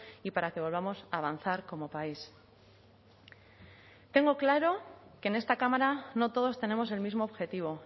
y para que volvamos a avanzar como país tengo claro que en esta cámara no todos tenemos el mismo objetivo